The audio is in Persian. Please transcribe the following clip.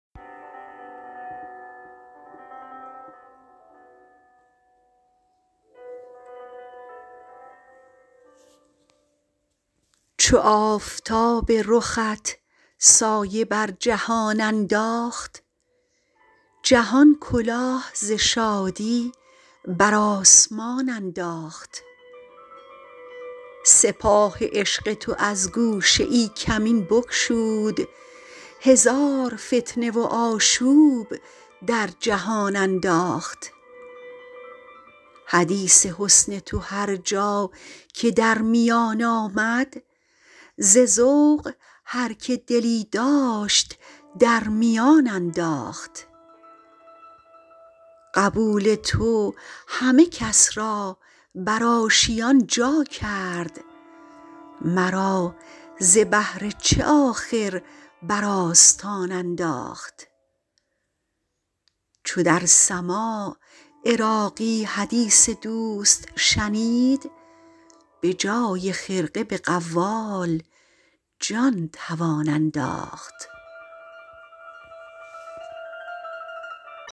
چو آفتاب رخت سایه بر جهان انداخت جهان کلاه ز شادی بر آسمان انداخت سپاه عشق تو از گوشه ای کمین بگشود هزار فتنه و آشوب در جهان انداخت حدیث حسن تو هر جا که در میان آمد ز ذوق هر که دلی داشت در میان انداخت قبول تو همه کس را بر آشیان جا کرد مرا ز بهر چه آخر بر آستان انداخت چو در سماع عراقی حدیث دوست شنید بجای خرقه به قوال جان توان انداخت